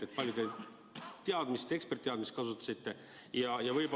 Kui palju te eksperditeadmist kasutasite?